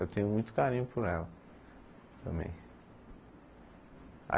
Eu tenho muito carinho por ela também.